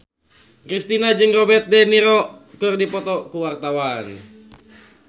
Kristina jeung Robert de Niro keur dipoto ku wartawan